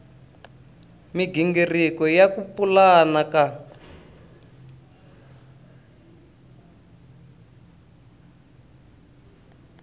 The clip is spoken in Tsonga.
migingiriko ya ku pulana ka